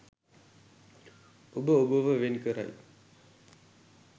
ඔබ ඔබව වෙන් කරයි.